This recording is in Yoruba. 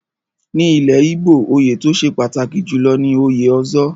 Ní ilẹ̀ Igbo, oyè tó ṣe pàtàkì jùlọ ni òye Ozo.